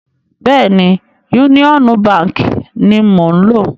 Bẹ́ẹ̀ni, Yúníọ́nú baǹkì ni mò ń lò.